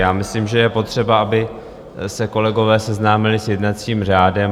Já myslím, že je potřeba, aby se kolegové seznámili s jednacím řádem.